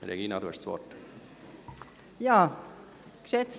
– Regina Fuhrer, Sie haben das Wort.